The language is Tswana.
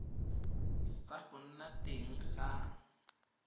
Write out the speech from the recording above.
sa go nna teng ga